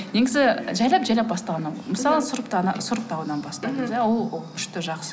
негізі жайлап жайлап бастаған мысалы сұрыптаудан бастаймыз иә ол күшті жақсы